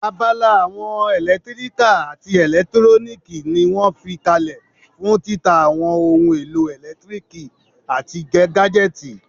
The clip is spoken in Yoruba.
Abala àwọn ẹlẹtíríkà àti ẹlẹtúróníìkì ní wọ́n fi kalẹ̀ fún títa àwọn ohun èlò ẹlẹtíríkì àti gájẹ́tìì